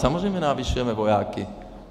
Samozřejmě navyšujeme vojáky.